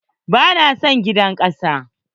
Ba na son gidan kasa.